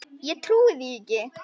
Ég trúi því ekki!